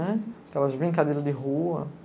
Aquelas brincadeiras de rua.